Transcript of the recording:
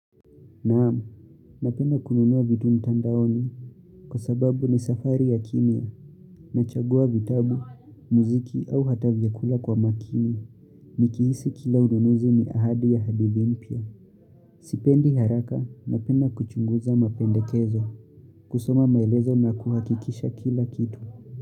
Naam, napenda kununua vitu mtandaoni, kwa sababu ni safari ya kimia nachagua vitabu, muziki au hata vyakula kwa makini. Nikihisi kila ununuzi ni ahadi ya hadithi mpya. Sipendi haraka napenda kuchunguza mapendekezo, kusoma maelezo na kuhakikisha kila kitu.